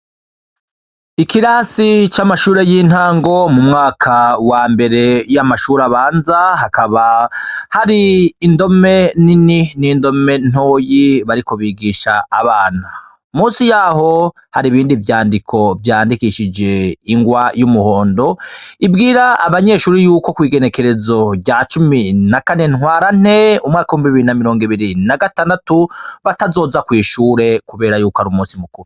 Ikirasi c'amashure y'intango m'umwaka wa mbere y'amashure abanza, hakaba hari indome nini n'indome ntoyi bariko bigisha abana, munsi yaho hari ibindi vyandiko vyandikishije ingwa y'umuhondo, ibwira abanyeshure yuko ku igenekerezo rya cumi na kane ntwarante umwaka w'ibihumbi mirongo biri na mirongo ibiri na gatandatu batazoza kw'ishure kubera ari umusi mukuru.